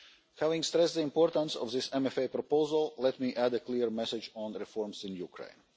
Having stressed the importance of this MFA proposal, let me add a clear message on the reforms in Ukraine.